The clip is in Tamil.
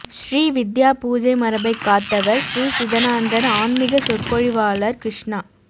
ஸ்ரீ வித்யா பூஜை மரபைக் காத்தவா் ஸ்ரீ சிதானந்தா்ஆன்மிக சொற்பொழிவாளா் கிருஷ்ணா